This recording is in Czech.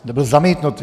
Byl zamítnut.